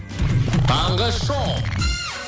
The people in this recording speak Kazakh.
таңғы шоу